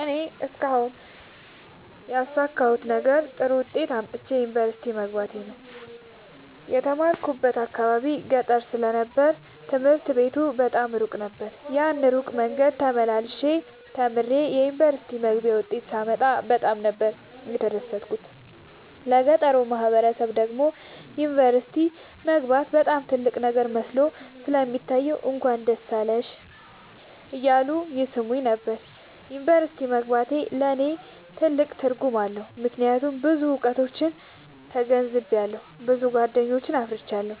እኔ እስካሁን ያሣካሁት ነገር ጥሩ ዉጤት አምጥቼ ዩኒቨርሲቲ መግባቴ ነዉ። የተማርኩበት አካባቢ ገጠር ስለ ነበር ትምህርት ቤቱ በጣም እሩቅ ነበር። ያን እሩቅ መንገድ ተመላልሸ ተምሬ የዩኒቨርሲቲ መግቢያ ዉጤት ሳመጣ በጣም ነበር የተደሠትኩት ለገጠሩ ማህበረሠብ ደግሞ ዩኒቨርሲቲ መግባት በጣም ትልቅ ነገር መስሎ ስለሚታየዉ እንኳን ደስ አለሽ እያሉ ይሥሙኝ ነበር። ዩኒቨርሢቲ መግባቴ ለኔ ትልቅ ትርጉም አለዉ። ምክያቱም ብዙ እዉቀቶችን ተገንዝቤአለሁ። ብዙ ጎደኞችን አፍርቻለሁ።